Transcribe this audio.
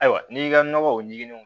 Ayiwa n'i y'i ka nɔgɔ o ɲininiw